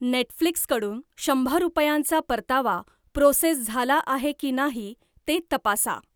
Netflix कडून शंभर रुपयांचा परतावा प्रोसेस झाला आहे की नाही ते तपासा!